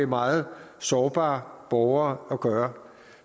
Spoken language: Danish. meget sårbare borgere at gøre